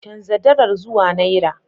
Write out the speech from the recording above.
Chanza dalar zuwa naira.